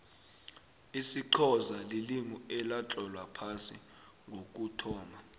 isixhosa lilimi elatlolwa phasi kokuthoma